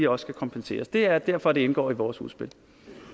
også skal kompenseres det er derfor det indgår i vores udspil